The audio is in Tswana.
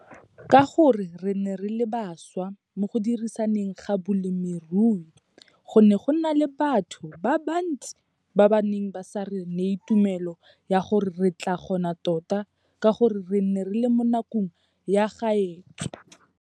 Ka gore re ne re le baswa mo go diriseng ga bolemirui, go ne go na le batho ba bansti ba ba neng ba sa re neye tumelo ya gore re tlaa kgona tota ka gore re ne re le mo nakong ya kgaotso.